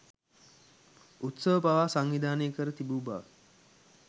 උත්සව පවා සංවිධානය කර තිබූ බව